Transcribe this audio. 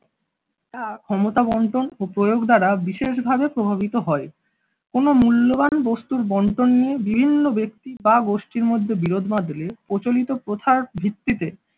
তা ক্ষমতা বন্টন ও প্রয়োগ দ্বারা বিশেষভাবে প্রভাবিত হয় কোন মূল্যবান বস্তুর বন্টন নিয়ে বিভিন্ন ব্যক্তি বা গোষ্ঠীর মধ্যে বিরোধ বাঁধলে প্রচলিত প্রথার ভিত্তিতে